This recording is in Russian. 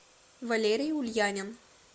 валерий ульянин